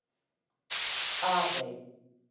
Arey